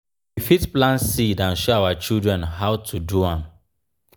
we fit plant seeds and show our children how to do am